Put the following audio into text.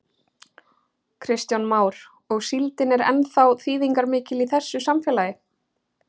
Kristján Már: Og síldin er ennþá þýðingarmikil í þessu samfélagi?